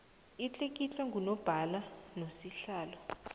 itlikitlwe ngunobhala nosihlalo